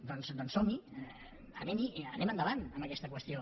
doncs som hi anem hi anem endavant amb aquesta qüestió